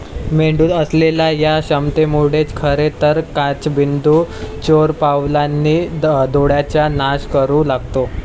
मेंदूत असलेल्या या क्षमतेमुळेच खरे तर काचबिंदू चोरपावलांनी डोळ्याचा नाश करू लागतो.